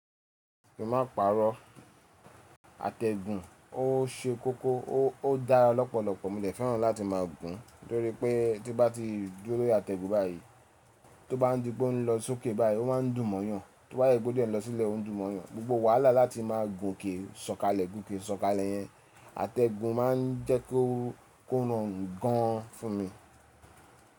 Kí n máa ń pàrọ̀, àtẹ̀gùn ó ṣe kókó ó dára lọ́pọ̀lọ́pọ̀. Mo dẹ̀ fẹ́ràn láti máa gùn torí pé tí bá ti dúró lórí àtẹ̀gùn báyìí, tó bá di po ń lọ sókè báyìí ó máa ń dùn mọ́yàn, tó bá dẹ̀ jẹ́ pé ó dẹ̀ ń lọ sílẹ̀ ó ń dùn mọ́yàn. Gbogbo wàhálà láti máa gùn òkè ṣọ̀kalẹ̀, gùn òkè ṣọ̀kalẹ̀ yẹn. Àtẹ̀gùn máa ń jẹ́ kó ko rọrùn gan an fún mi.